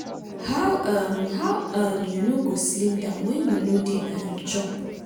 how um how um you no go slim down wen you no dey um chop.